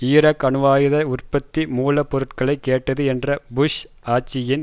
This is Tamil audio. ஈராக் அணுவாயுத உற்பத்தி மூல பொருட்களை கேட்டது என்ற புஷ் ஆட்சியின்